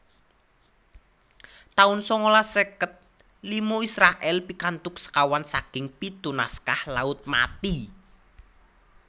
taun sangalas seket lima Israèl pikantuk sekawan saking pitu naskah Laut Mati